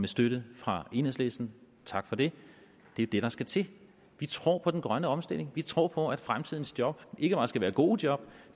støtte fra enhedslisten tak for det det er det der skal til vi tror på den grønne omstilling vi tror på at fremtidens job ikke bare skal være gode job